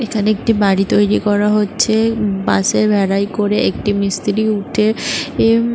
এখানে একটি বাড়ি তৈরি করা হচ্ছে। বাঁশের বেড়ায় করে একটি মিস্ত্রি উঠে এ --